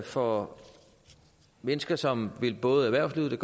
for mennesker som vil både erhvervslivet